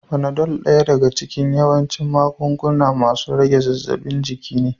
Fanado daya daga cikin yawancin magunguna masun rage zaffin jiki ne.